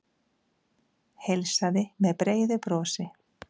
Heilsaði með breiðu brosi.